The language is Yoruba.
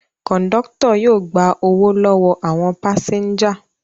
Kọ̀ńdọ́tọ̀ yóò gba owó lọ́wọ́ àwọn pásẹ́ńjà.